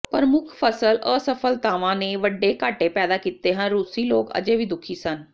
ਪ੍ਰਮੁੱਖ ਫਸਲ ਅਸਫਲਤਾਵਾਂ ਨੇ ਵੱਡੇ ਘਾਟੇ ਪੈਦਾ ਕੀਤੇ ਹਨ ਰੂਸੀ ਲੋਕ ਅਜੇ ਵੀ ਦੁਖੀ ਸਨ